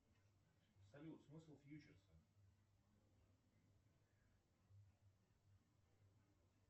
салют смысл фьючерса